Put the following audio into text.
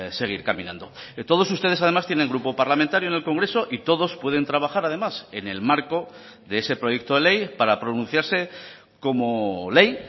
seguir caminando todos ustedes además tienen grupo parlamentario en el congreso y todos pueden trabajar además en el marco de ese proyecto de ley para pronunciarse como ley